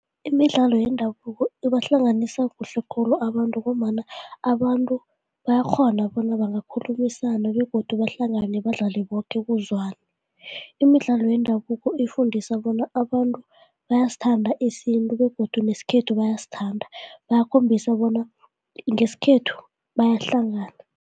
Imidlalo yendabuko ibahlanganisa kuhle khulu abantu ngombana abantu bayakghona bona bangakhulumisana begodu bahlangane badlale boke kuzwane. Imidlalo yendabuko ifundisa bona abantu bayasithanda isintu begodu nesikhethu bayasithanda, bayakhombisa bona ngesikhethu bayahlangana.